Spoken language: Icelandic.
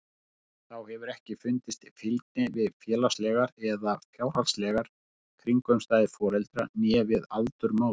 Þá hefur ekki fundist fylgni við félagslegar eða fjárhagslegar kringumstæður foreldra né við aldur móður.